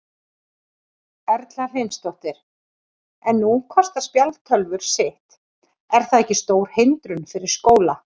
Erla Hlynsdóttir: En nú kosta spjaldtölvur sitt, er það ekki stór hindrun fyrir skóla?